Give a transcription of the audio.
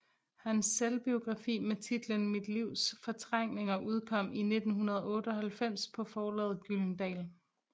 Hans selvbiografi med titlen Mit livs fortrængninger udkom i 1998 på forlaget Gyldendal